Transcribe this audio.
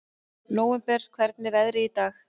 Nóvember, hvernig er veðrið í dag?